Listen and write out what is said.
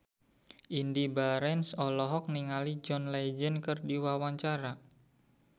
Indy Barens olohok ningali John Legend keur diwawancara